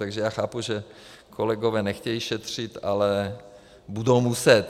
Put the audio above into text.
Takže já chápu, že kolegové nechtějí šetřit, ale budou muset.